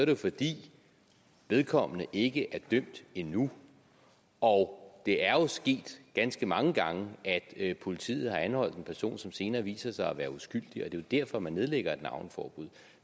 det fordi vedkommende ikke er dømt endnu og det er jo sket ganske mange gange at politiet har anholdt en person som senere viser sig at være uskyldig og det er derfor man nedlægger navneforbud